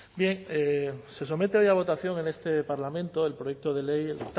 bien se somete hoy a votación en este parlamento el proyecto de ley el